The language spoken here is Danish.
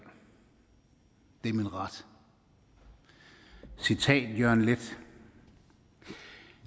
det er min ret citat fra jørgen leth